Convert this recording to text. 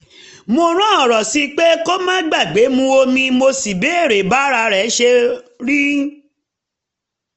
mo rán ọ̀rọ̀ sí i pé kó má gbàgbé mu omi mo sì béèrè bá ara ṣe rí